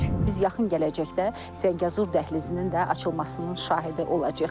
Biz yaxın gələcəkdə Zəngəzur dəhlizinin də açılmasının şahidi olacağıq.